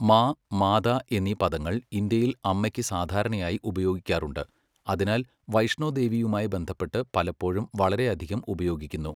മാ, മാതാ എന്നീ പദങ്ങൾ ഇന്ത്യയിൽ അമ്മയ്ക്ക് സാധാരണയായി ഉപയോഗിക്കാറുണ്ട്, അതിനാൽ വൈഷ്ണോദേവിയുമായി ബന്ധപ്പെട്ട് പലപ്പോഴും വളരെയധികം ഉപയോഗിക്കുന്നു.